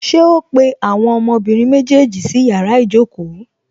Ṣé ó pé àwọn ọmọbìnrin méjèèjì sí yàrá ìjókòó?